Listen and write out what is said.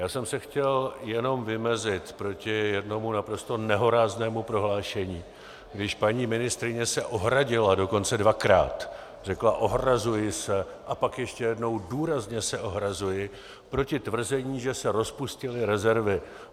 Já jsem se chtěl jenom vymezit proti jednomu naprosto nehoráznému prohlášení, když paní ministryně se ohradila, dokonce dvakrát - řekla "ohrazuji se" a pak ještě jednou "důrazně se ohrazuji proti tvrzení, že se rozpustily rezervy".